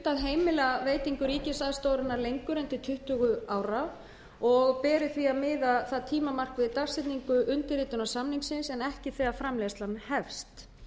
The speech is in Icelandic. heimila veitingu ríkisaðstoðarinnar lengur en til tuttugu ára og beri því að miða það tímamark við dagsetningu undirritunar samningsins en ekki þegar framleiðslan hefst